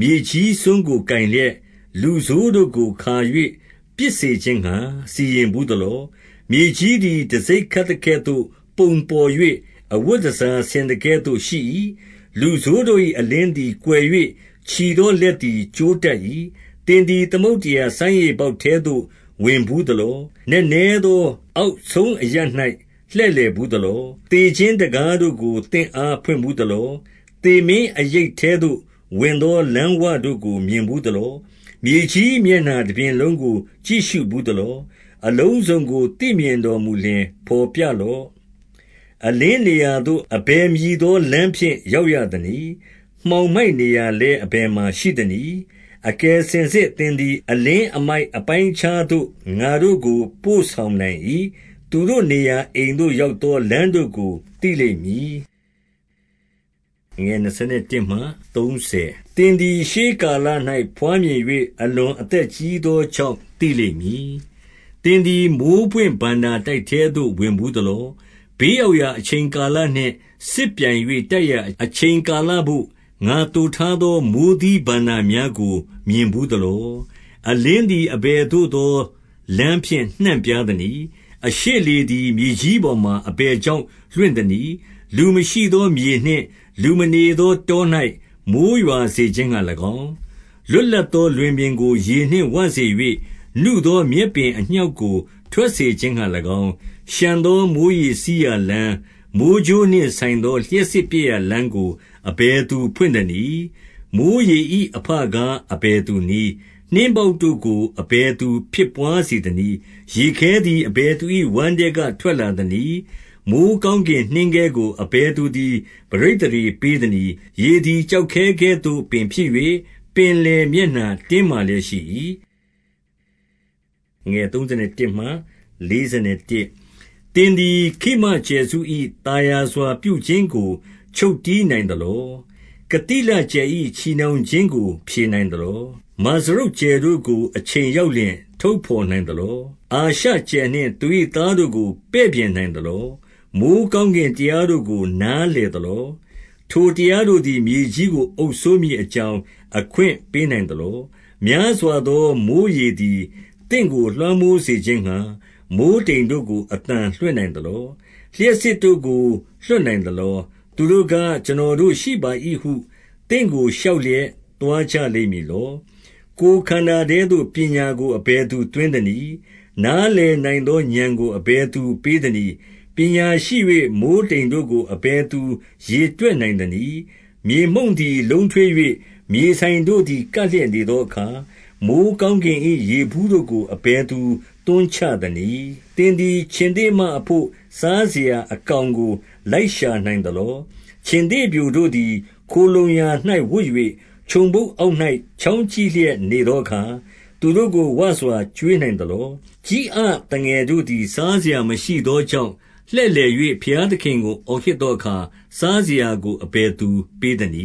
မြေကြီးစွန်းကိုကိုင်လျက်၊ လူဆိုးတို့ကိုခါ၍ ပစ်စေခြင်းငှါ စီရင်ဘူးသလော။ 14 မြေကြီးသည် တံဆိပ်ခတ်သကဲ့သို့ပုံပေါ်၍ အဝတ်တန်ဆာဆင်သကဲ့သို့ ရှိ၏။ 15 လူဆိုးတို့၏ အလင်းသည်ကွယ်၍ ချီကြွသော လက်လည်း ကျိုးတတ်၏။ 16 သင်သည်သမုဒ္ဒရာ စမ်းရေပေါက်ထဲသို့ ဝင်ဘူးသလော။ နက်နဲသော အောက်ဆုံးအရပ်၌ လှည့်လည်ဘူး သလော။ 17 သေခြင်းတံခါးတို့ကို သင့်အားဖွင့်ဘူးသလော။ သေမင်းအရိပ်ထဲသို့ဝင်သော လမ်းဝတို့ကို မြင်ဘူး သလော။ 18 မြေကြီးမျက်နှာတပြင်လုံးကို ကြည့်ရှုဘူး သလော။ အလုံးစုံကို သိမြင်လျှင်ဘော်ပြလော့။ 19 အလင်းနေရာသို့ အဘယ်မည်သော လမ်းဖြင့် ရောက်ရသနည်း။ မှောင်မိုက်နေရာလည်း အဘယ်မှာ ရှိသနည်း။ 20 အကယ်စင်စစ်သင်သည် အလင်းအမိုက်အပိုင်း အခြားသို့ ငါတို့ ကိုပို့ဆောင်နိုင်၏။ သူတို့နေရာအိမ်သို့ ရောက်သောလမ်းတို့ကို သိလိမ့်မည်။ 21 သင်သည်ရှေးကာလ၌ ဘွားမြင်၍ အလွန် အသက်ကြီးသောကြောင့် သိလိမ့်မည်။ 22 သင်သည် မိုဃ်းပွင့်ဘဏ္ဍာတိုက်ထဲသို့ ဝင်ဘူး သလော။ 23 ဘေးရောက်ရာအချိန်ကာလနှင့် စစ်ပြိုင်၍ တိုက်ရာအချိန်ကာလဘို့၊ ငါသိုထားသော မိုဃ်းသီးဘဏ္ဍာ များကို မြင်ဘူးသလော။ 24 အလင်းသည် အဘယ်သို့သောလမ်းဖြင့် နှံ့ပြားသနည်း။ အရှေ့လေသည်မြေကြီးပေါ်မှာ အဘယ်ကြောင့် လွင့်သနည်း။ 25 လူမရှိသောမြေနှင့် လူမနေသောတော၌ မိုဃ်း ရွာစေခြင်းငှါ၎င်း၊ 26 လွတ်လပ်သောလွင်ပြင်ကို ရေနှင့်ဝစေ၍၊ နုသောမြက်ပင်အညှောက်ကို ထွက်စေခြင်းငှါ၎င်း၊ 27 လျှံသောမိုဃ်းရေစီးရာလမ်း၊ မိုဃ်းကြိုးနှင့် ဆိုင်သော လျှပ်စစ်ပြက်ရာလမ်းကို အဘယ်သူဖွင့်သနည်း။ 28 မိုဃ်းရေ၏အဘကား အဘယ်သူနည်း။ နှင်း ပေါက်တို့ကို အဘယ်သူဖြစ်ဘွားစေသနည်း။ 29 ရေခဲသည်အဘယ်သူ၏ ဝမ်းထဲက ထွက်လာ သနည်း။ မိုဃ်းကောင်းကင်နှင်းခဲကို အဘယ်သူသည် ပဋိသန္ဓေပေးသနည်း။ 30 ရေသည် ကျောက်ခဲကဲ့သို့ဖြစ်၍ ပင်လယ် မျက်နှာတင်းမာလျက် ရှိ၏။ 31 သင်သည် ခိမကြယ်စု၏သာယာစွာ ပြုပြင်ခြင်း ကို ချုပ်တည်းနိုင်သလော။ ကသိလကြယ်၏ ချည်နှောင် ခြင်းကို ဖြည်နိုင်သလော။ 32 မာဇရုတ်ကြယ်တို့ကို အချိန်ရောက်လျှင် ထုတ် ဘော်နိုင်သလော။ အာရှကြယ်နှင့်သူ၏သားတို့ကို ပဲ့ပြင် နိုင်သလော။ 33 မိုဃ်းကောင်းကင်တရားတို့ကို နားလည် သလော။ ထိုတရားတို့သည် မြေကြီးကို အုပ်စိုးမည် အကြောင်း အခွင့်ပေးနိုင်သလော။ 34 များစွာသော မိုဃ်းရေသည် သင့်ကို လွှမ်းမိုး စေခြင်းငှါ မိုဃ်းတိမ်တို့ကို အသံလွှင့်နိုင်သလော။ 35 လျှပ်စစ်တို့ကို လွှတ်နိုင်သလော။ သူတို့က ကျွန်တော်တို့ရှိပါ၏ဟု သင့်ကိုလျှောက်လျက် သွားကြ လိမ့်မည်လော။ 36 ကိုယ်ခန္ဓာထဲသို့ ပညာကို အဘယ်သူသွင်း သနည်း။ နားလည်နိုင်သောဥာဏ်ကို အဘယ်သူပေး သနည်း။ ပညာရှိ၍ မိုဃ်းတိမ်တို့ကို အဘယ်သူရေတွက် နိုင်သနည်း။ 37 မြေမှုန့်သည် လုံးထွေး၍ မြေစိုင်တို့သည် ကပ်လျက်နေသောအခါ၊ 38 မိုဃ်းကောင်းကင်၏ရေဘူးတို့ကို အဘယ်သူသွန်းချသနည်း။ 39 သင်သည်ခြင်္သေ့မအဘို့ စားစရာအကောင်ကို လိုက်ရှာနိုင်သလော။ 40 ခြင်္သေ့ပျိုတို့သည် ခိုလှုံရာ၌ဝပ်၍၊ ချုံဖုတ် အောက်၌ ချောင်းကြည့်လျက်နေသောအခါ၊ သူတို့ကို ဝစွာကျွေးနိုင်သလော။ 41 ကျီးအသငယ်တို့သည် စားစရာမရှိကြောင့်လှည့်လည်၍ ဘုရားသခင်ကိုအော်ဟစ်သောအခါ၊ စားစရာကိုအဘယ်သူပေးသနည